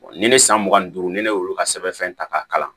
ni ne san mugan ni duuru ni ne y'olu ka sɛbɛnfɛn ta k'a kalan